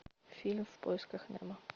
фильм в поисках немо